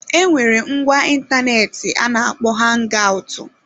Enwere ngwa ịntanetị a na-akpo hangaụtụ.